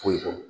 Foyi dɔn